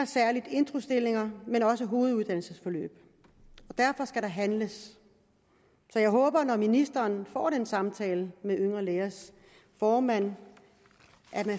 introstillinger men også hoveduddannelsesforløb og derfor skal der handles så jeg håber når ministeren får den samtale med yngre lægers formand